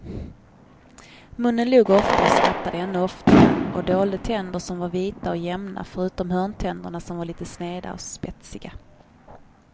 Munnen log ofta och skrattade ännu oftare och dolde tänder som var vita och jämna förutom hörntänderna som var lite sneda och spetsiga.